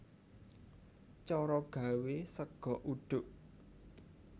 Cara gawé sega uduk